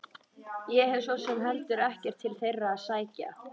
Ég hef svo sem heldur ekkert til þeirra að sækja.